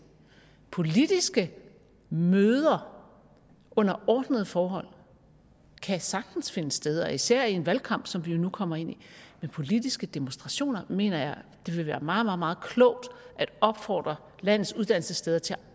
politiske møder under ordnede forhold kan sagtens finde sted og især i en valgkamp som vi jo nu kommer ind i men politiske demonstrationer mener jeg det vil være meget meget klogt at opfordre landets uddannelsessteder til at